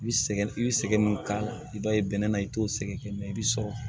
I bi sɛgɛn i bi sɛgɛn min k'a la i b'a ye bɛnɛ na i t'o sɛgɛn i bɛ sɔrɔ